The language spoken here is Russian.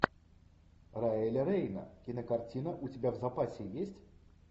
райли рейна кинокартина у тебя в запасе есть